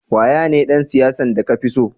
Waya ne dan siyasa de ka fi tso?